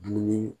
Dumuni